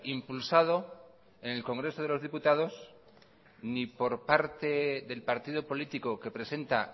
impulsado en el congreso de los diputados ni por parte del partido político que presenta